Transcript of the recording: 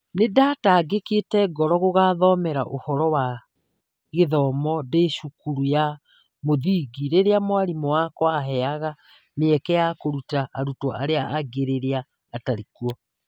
Nĩ ndanigwithĩkĩte ngoro gũgathomera ũhoro wabĩthomo ndĩ cukuru ya mũthingi rĩrĩa mwarimũ wakwa aaheaga mĩeke ya kũruta arutwo arĩa angĩ rĩrĩa atarĩ kuo.